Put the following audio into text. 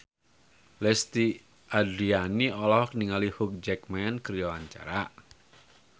Lesti Andryani olohok ningali Hugh Jackman keur diwawancara